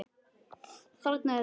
Þarna er það!